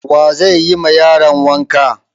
Wa zai yi ma yaron wanka?